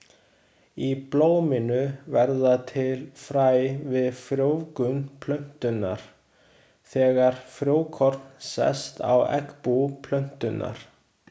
Í blóminu verða til fræ við frjóvgun plöntunnar, þegar frjókorn sest á eggbú plöntunnar.